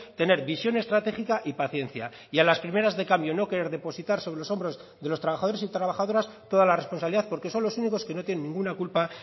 tener visión estratégica y paciencia y a las primeras de cambio no querer depositar sobre los hombros de los trabajadores y trabajadoras toda la responsabilidad porque son los únicos que no tienen ninguna culpa